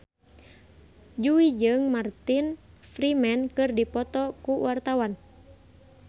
Jui jeung Martin Freeman keur dipoto ku wartawan